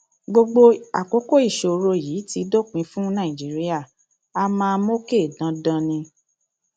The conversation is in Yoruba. gbogbo àkókò ìṣòro yìí ti dópin fún nàìjíríà a máa a máa mókè dandan ni